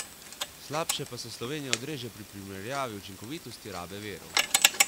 Slabše pa se Slovenija odreže pri primerjavi učinkovitosti rabe virov.